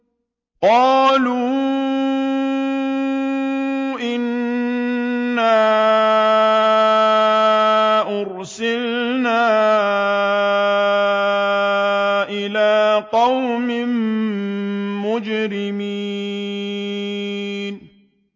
قَالُوا إِنَّا أُرْسِلْنَا إِلَىٰ قَوْمٍ مُّجْرِمِينَ